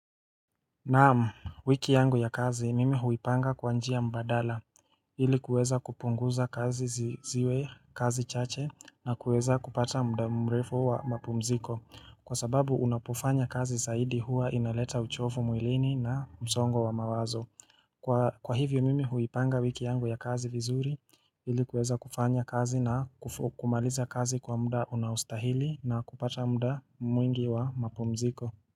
Naam, wiki yangu ya kazi mimi huipanga kwa njia mbadala ilikuweza kupunguza kazi ziwe kazi chache na kuweza kupata muda mrefu wa mapumziko kwa sababu unapofanya kazi zaidi huwa inaleta uchovu mwilini na msongo wa mawazo Kwa hivyo mimi huipanga wiki yangu ya kazi vizuri ilikuweza kupanya kazi na kumaliza kazi kwa muda unaostahili na kupata muda mwingi wa mapumziko.